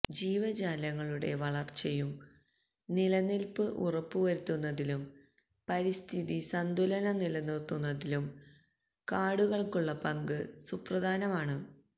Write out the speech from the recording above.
ജീവജാലങ്ങളുടെ വളര്ച്ചയും നിലനില്പ്പും ഉറപ്പു വരുത്തുന്നതിലും പരിസ്ഥിതി സന്തുലനം നിലനിര്ത്തുന്നതിലും കാടുകള്ക്കുള്ള പങ്ക് സുപ്രധാനമാണ്